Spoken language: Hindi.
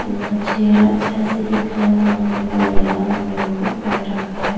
इनका चेहरा ऐसे दिख रहा है मानो अभी बोल देगा उन्होंने मुकुट पहन रखा है।